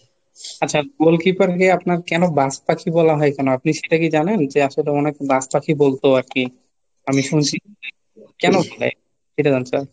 আচ্ছা goal keeper কে আপনার কেন বাজপাখি বলা হয় কেন? আপনি সেটা কি জানেন? যে আসলে ওনাকে বাজপাখি বলতো আর কি. আমি শুনছি, কেন বলা হয় ? এটা জানতে চাইছি।